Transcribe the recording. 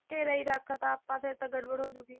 ਘੇਰਾ ਹੀ ਰੱਖਤਾ ਆਪਾਂ ਫਿਰ ਤਾਂ ਗੜਬੜ ਹੋਜੂਗੀ